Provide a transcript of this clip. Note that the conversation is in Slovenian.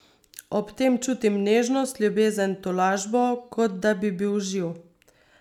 Ob tem čutim nežnost, ljubezen, tolažbo, kot da bi bil živ!